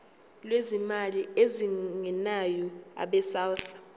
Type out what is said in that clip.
lwezimali ezingenayo abesouth